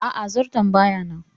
Aa, zarton baya nan